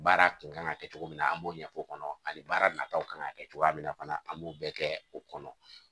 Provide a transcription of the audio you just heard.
Baara kun kan ka kɛ cogo min na an b'o ɲɛfɔ o kɔnɔ ani baarataw kan ka kɛ cogoya min na fana an b'o bɛɛ kɛ o kɔnɔ